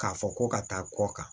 K'a fɔ ko ka taa kɔ kan